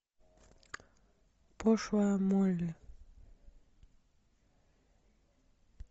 пошлая молли